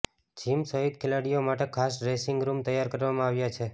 gym સહિત ખેલાડીઓ માટે ખાસ ડ્રેસિંગ રૂમ તૈયાર કરવામાં આવ્યા છે